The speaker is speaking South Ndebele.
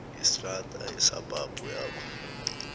yestrada yesabhabhu lapho